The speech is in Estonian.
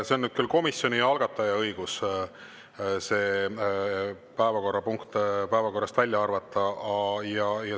See on nüüd küll komisjoni ja algataja õigus, päevakorrapunkt päevakorrast välja arvata.